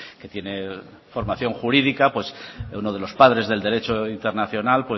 que tiene formación jurídica pues uno de los padres del derecho internacional